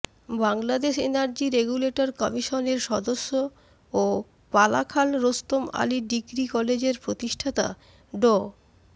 Bangladesh energy regulator কমিশনের সদস্য ও পালাখাল রোস্তম আলী ডিগ্রি কলেজের প্রতিষ্ঠাতা ড